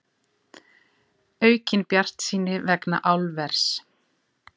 Aukin bjartsýni vegna álvers